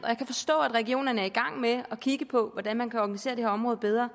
jeg kan forstå at regionerne er i gang med at kigge på hvordan man kan organisere det her område bedre